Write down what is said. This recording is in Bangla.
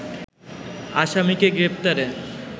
আসামিকে গ্রেপ্তারে